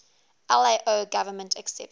lao government accepted